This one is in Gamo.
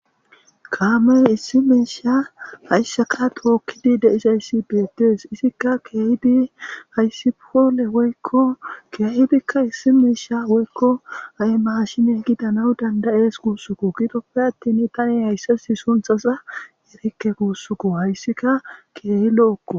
kaamey issi miisha hayssaka tookkidi deisayssi beetees isikka keehidi hayssipole woykko keehidikka issi meesha woykko ay mashine gidana dandayees guussuko gidoppe attin tani hayssasi sunthasa erikke guussuko hayssika keehi lo7okko